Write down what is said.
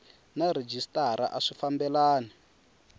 na rhejisitara a swi fambelani